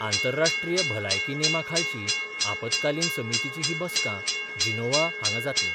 आंतरराष्ट्रीय भलायकी नेमा खालची आपतकालीन समितीची ही बसका जिनोव्हा हांगा जातली.